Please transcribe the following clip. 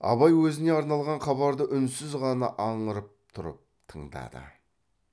абай өзіне арналған хабарды үнсіз ғана аңырып тұрып тыңдады